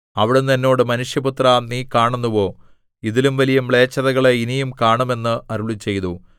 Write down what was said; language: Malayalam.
അവിടുന്ന് എന്നോട് മനുഷ്യപുത്രാ നീ കാണുന്നുവോ ഇതിലും വലിയ മ്ലേച്ഛതകളെ ഇനിയും കാണും എന്ന് അരുളിച്ചെയ്തു